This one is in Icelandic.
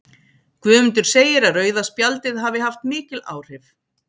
Guðmundur segir að rauða spjaldið hafi haft mikil áhrif.